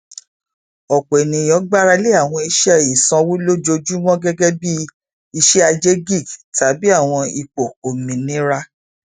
ọpọ ènìyàn gbára lé àwọn iṣẹ ìsanwó lójoojúmọ gẹgẹ bí iṣẹaje gig tàbí àwọn ipò ominira